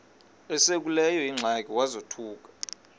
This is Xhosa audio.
esekuleyo ingxaki wazothuka